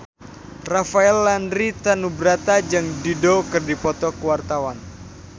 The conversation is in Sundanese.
Rafael Landry Tanubrata jeung Dido keur dipoto ku wartawan